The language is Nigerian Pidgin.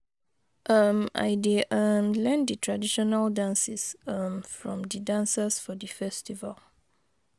um I dey um learn di traditional dances um from di dancers for di festival.